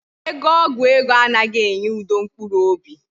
Ego ọgwụ ego anaghị enye udo mkpụrụ obi